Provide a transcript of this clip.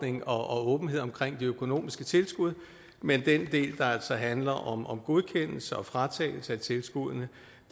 og åbenhed omkring de økonomiske tilskud men den del der handler om om godkendelse og fratagelse af tilskuddene